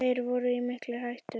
Þeir voru í mikilli hættu.